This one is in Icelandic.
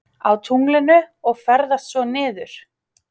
Á tunglinu og ferðast svo niður?